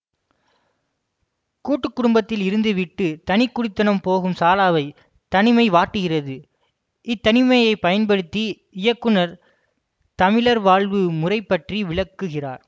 கூட்டுக்குடும்பத்தில் இருந்துவிட்டு தனிக்குடித்தனம் போகும் சாலாவை தனிமை வாட்டுகிறது இத்தனிமையைப் பயன்படுத்தி இயக்குனர் தமிழர் வாழ்வு முறைப்பற்றி விளக்குகிறார்